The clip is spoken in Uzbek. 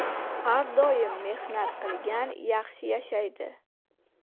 Har doim mehnat qilgan yaxshi yashaydi”.